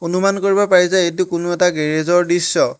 অনুমান কৰিব পাৰি যে এইটো কোনো এটা গেৰেজ ৰ দৃশ্য।